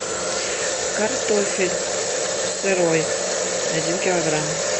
картофель сырой один килограмм